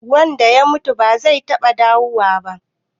Wanda ya mutu ba zai taɓa dawowa ba.